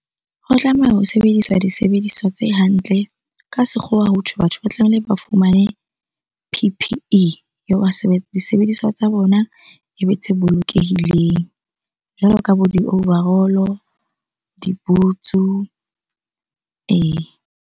Ho tlameha ho sebedisa disebediswa tse hantle. Ka sekgowa hothwe batho ba tlamehile ba fumane P_P_E . Disebediswa tsa bona ebe tse bolokehileng jwalo ka bo di-overall-o, di-boots-u, ee.